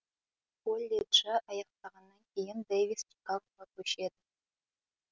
колледжі аяқтағаннан кейін дэвис чикагоға көшеді